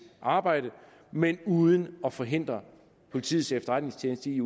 arbejde men uden at forhindre politiets efterretningstjeneste i